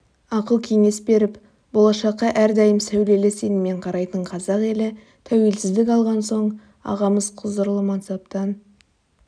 ақыл-кеңес беріп болашаққа әрдайым сәулелі сеніммен қарайтын қазақ елі тәуелсіздік алған соң ағамыз құзырлы мансаптан